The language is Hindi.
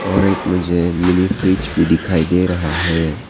और एक मुझे मिनी फ्रिज भी दिखाई दे रहा है।